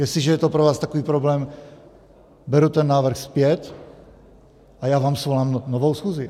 Jestliže je to pro vás takový problém, beru ten návrh zpět a já vám svolám novou schůzi.